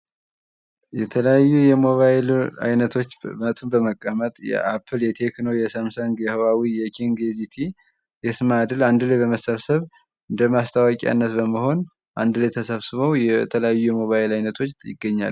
የተለያዩ የሞባይል አይነቶች መቱን በመቀመጥ የአፕል ፣ የቴክኖ ፣ የሳምሰንግ ፣ የሂዋዌ ፣ የኪንግ ፣፣ የዚቲ ፣ የእስማድል አንድ ላይ በመሰብሰብ እንደ ማስታወቂያነት በመሆን አንድ ላይ ተሰብስበው የተለያዩ የሞባይል አይነቶች ይገኛሉ ።